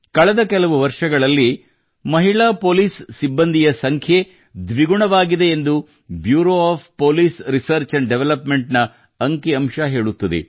ಕಳೆದ ಕೆಲವು ವರ್ಷಗಳಲ್ಲಿ ಮಹಿಳಾ ಪೊಲಿಸ್ ಸಿಬ್ಬಂದಿಯ ಸಂಖ್ಯೆ ದ್ವಿಗುಣವಾಗಿದೆ ಎಂದು bureau of police research and development ನ ಅಂತಿ ಸಂಖ್ಯೆ ಹೇಳುತ್ತದೆ